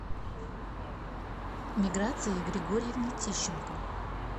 миграции григорьевне тищенко